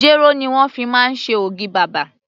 Jéró ni wón fi máa ń ṣe ògì bàbà.